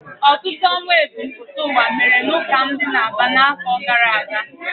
Ọtụtụ ọnwụ ebumpụta ụwa mere n'ụka m dị n'Aba n'afọ gara aga.